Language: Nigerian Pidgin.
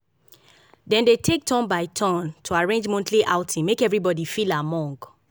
dem dey take take turn by turn to arrange monthly outing make everybody feel among